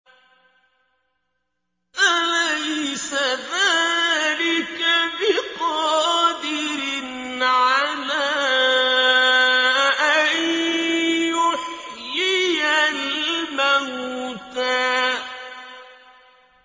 أَلَيْسَ ذَٰلِكَ بِقَادِرٍ عَلَىٰ أَن يُحْيِيَ الْمَوْتَىٰ